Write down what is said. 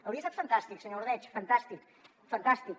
hauria estat fantàstic senyor ordeig fantàstic fantàstic